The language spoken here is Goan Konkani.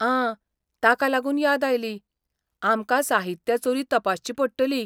आं! ताका लागून याद आयली, आमकां साहित्य चोरी तपासची पडटली.